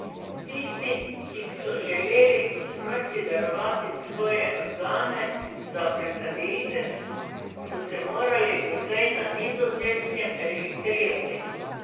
Tisti, ki so želeli po smrti darovati svoje organe za presaditev, so se morali doslej na Nizozemskem registrirati.